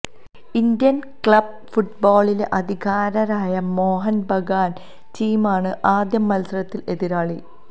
Indian club ഫുട്ബാളിലെ അധികായരായ മോഹന് ബഗാന് ടീമാണ് ആദ്യമത്സരത്തിലെ എതിരാളി